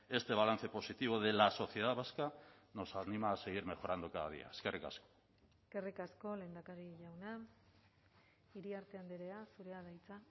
este balance positivo de la sociedad vasca nos anima a seguir mejorando cada día eskerrik asko eskerrik asko lehendakari jauna iriarte andrea zurea da hitza